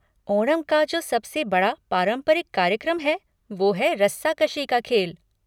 ओणम का जो सबसे बड़ा पारंपरिक कार्यक्रम है वो है रस्साकशी का खेल।